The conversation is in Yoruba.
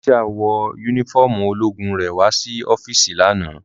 Cynthia wọ unifọmú ologun rẹ wa si ọfiisi lana.